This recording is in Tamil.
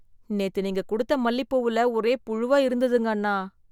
நேத்து நீங்க குடுத்த மல்லிப்பூவுல ஒரே புழுவா இருந்துதுங்க அண்ணா.